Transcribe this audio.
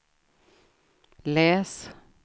läs